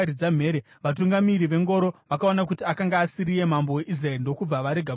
vatungamiri vengoro vakaona kuti akanga asiriye mambo weIsraeri ndokubva varega kumutevera.